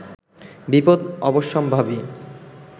বিপদ অবশ্যম্ভাবী